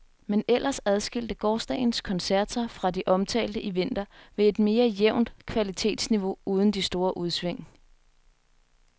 Men ellers adskilte gårsdagens koncert sig fra de omtalte i vinter ved et mere jævnt kvalitetsniveau uden de store udsving.